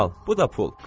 Al, bu da pul.